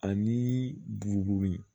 Ani buguri